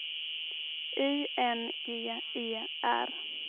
I N G E R